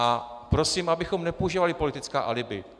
A prosím, abychom nepoužívali politická alibi.